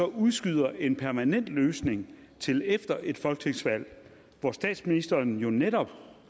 udskyder en permanent løsning til efter et folketingsvalg hvor statsministeren jo netop